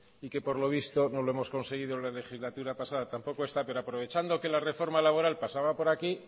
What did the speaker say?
y que por lo visto no lo hemos conseguido en la legislatura pasada tampoco esta pero aprovechando que la reforma laboral pasaba por aquí